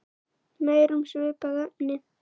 Meira um svipað efni